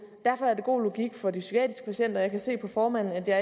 derfor er det god logik for de psykiatriske patienter jeg kan se på formanden at jeg